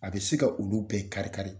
A bɛ se ka olu bɛɛ kari-kari.